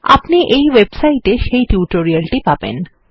আপনি এই ওয়েবসাইটে সেই টিউটোরিয়াল টি পাবেন